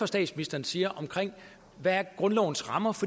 statsministeren siger om hvad grundlovens rammer